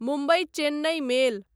Mumbai Chennai मेल